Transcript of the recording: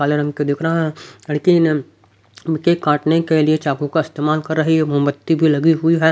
काले रंग के दिख रहा है लेकिन इनके काटने के लिए चाकू का इस्तेमाल कर रही है मोमबत्ती भी लगी हुई है।